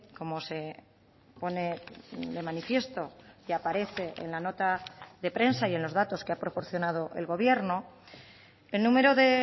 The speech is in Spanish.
como se pone de manifiesto y aparece en la nota de prensa y en los datos que ha proporcionado el gobierno el número de